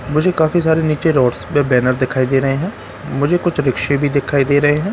मुझे काफी सारे नीचे रोड्स पर बैनर दिखाई दे रहे हैं मुझे कुछ रिक्शे भी दिखाई दे रहे हैं।